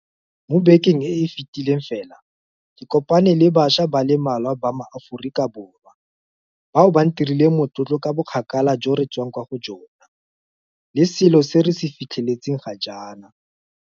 Mo bekeng e e fetileng fela ke kopane le bašwa ba le mmalwa ba maAforika Borwa bao ba ntirileng motlotlo ka bokgakala jo re re tswang kwa go jona le selo seo re se fitlheletseng ga jaana.